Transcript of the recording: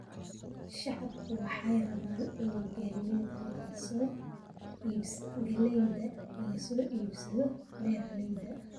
Shacabku waxay rabaan in galeeyda laga soo iibsado beeralayda